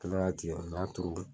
Kɛnɛ k'a tigɛ n y'a turu